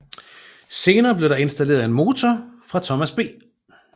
Senere blev der installeret en motor fra Thomas B